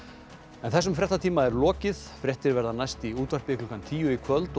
þessum fréttatíma er lokið fréttir verða næst í útvarpi klukkan tíu í kvöld og